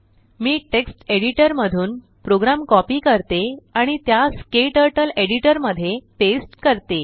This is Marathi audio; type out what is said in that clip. मी टेक्स्ट एडिटर मधून प्रोग्राम कॉपी करते आणि त्यास क्टर्टल एडिटर मध्ये पेस्ट करते